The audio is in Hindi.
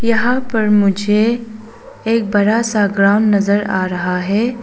यहां पर मुझे एक बड़ा सा ग्राउंड नजर आ रहा है।